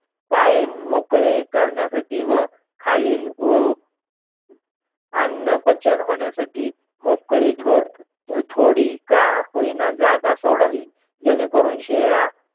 पाय मोकळे करण्यासाठी व खालील खालील अन्नपचन होण्यासाठी मोकळी थोडी थोडी का होय ना जागा सोडावी, जेणेकरून शेळ्या